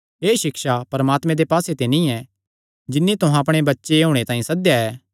एह़ सिक्षा परमात्मे दे पास्से ते नीं ऐ जिन्नी तुहां अपणे बच्चे होणे तांई सद्देया ऐ